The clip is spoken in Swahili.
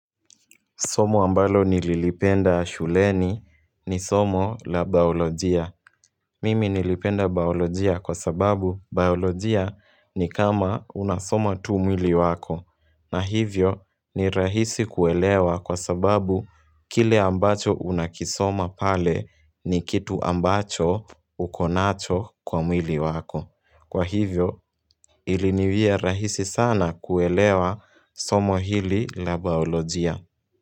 Somo ambalo nililipenda shuleni ni somo la bayolojia. Mimi nilipenda bayolojia kwa sababu bayolojia ni kama unasoma tu mwili wako. Na hivyo ni rahisi kuelewa kwa sababu kile ambacho unakisoma pale ni kitu ambacho ukonacho kwa mwili wako. Kwa hivyo iliniwia rahisi sana kuelewa somo hili la bayolojia.